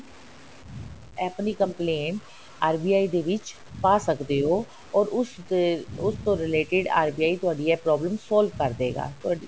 ਆਪਣੀ complaint RBI ਦੇ ਵਿੱਚ ਪਾ ਸਕਦੇ ਹੋ or ਉਸਦੇ ਉਸਤੋਂ related RBI ਤੁਹਾਡੀ ਇਹ problem solve ਕਰ ਦੇਗਾ ਤੁਹਾਡੀ